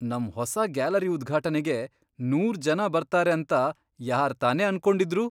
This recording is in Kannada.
ನಮ್ ಹೊಸ ಗ್ಯಾಲರಿ ಉದ್ಘಾಟನೆಗೆ ನೂರ್ ಜನ ಬರ್ತಾರೆ ಅಂತ ಯಾರ್ತಾನೇ ಅನ್ಕೊಂಡಿದ್ರು?